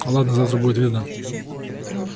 ладно завтра будет видно